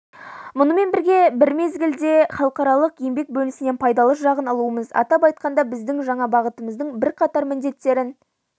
мұнымен бір мезгілде халықаралық еңбек бөлінісінен пайдалы жағын алуымыз атап айтқанда біздің жаңа бағытымыздың бірқатар міндеттерін